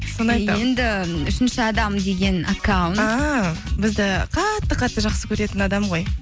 енді үшінші адам деген аккаунт а бізді қатты қатты жақсы көретін адам ғой